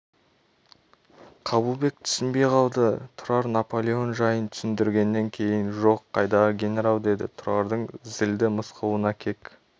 қабылбек түсінбей қалды тұрар наполеон жайын түсіндіргеннен кейін жоқ қайдағы генерал деді тұрардың зілді мысқылына кек